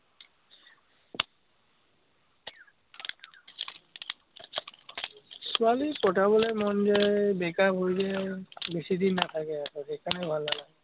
ছোৱালী পতাবলে মন যায়, এৰ বেকাৰ হৈ যায় বেছিদিন নাথাকে আৰু, সেইকাৰণে ভাল নালাগে।